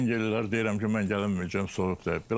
Zəng eləyirlər, deyirəm ki, mən gələ bilməyəcəm soyuq dəyib.